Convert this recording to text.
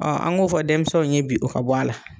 an ŋ'o fɔ denmisɛnw ye bi o ka bɔ a la.